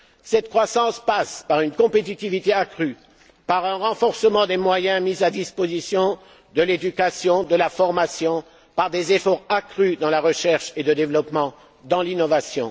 Cette croissance passe par une compétitivité accrue, par un renforcement des moyens mis à la disposition de l'éducation et de la formation et par des efforts accrus dans la recherche, le développement et l'innovation.